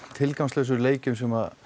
tilgangslausum leikjum sem